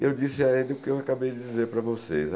E eu disse a ele o que eu acabei de dizer para vocês.